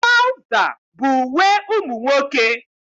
Traụza bụ uwe ụmụ nwoke.